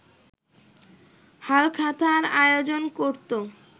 হালখাতার আয়োজন করতো